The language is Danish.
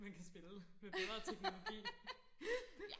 man kan spille med bedre teknologi